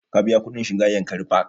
Ka biya kuɗin shiga yankari park?